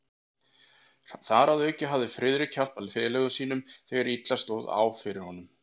Þar að auki hafði Friðrik hjálpað félaga sínum, þegar illa stóð á fyrir honum.